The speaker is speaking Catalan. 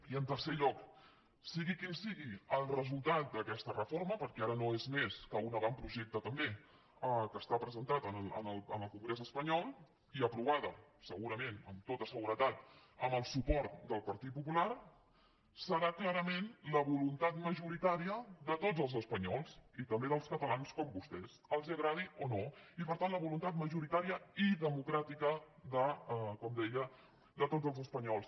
i en tercer lloc sigui quin sigui el resultat d’aquesta reforma perquè ara no és més que un avantprojecte també que està presentat en el congrés espanyol i aprovada segurament amb tota seguretat amb el suport del partit popular serà clarament la voluntat majoritària de tots els espanyols i també dels catalans com vostès els agradi o no i per tant la voluntat majoritària i democràtica de com deia tots els espanyols